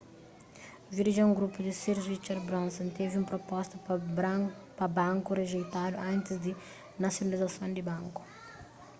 virgin group di sir richard branson's tevi un proposta pa banku rijeitadu antis di nasionalizason di banku